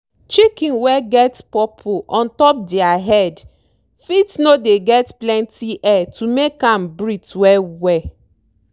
chicken wey get purple ontop dere head fit no dey get plenty air to make am breathe well well.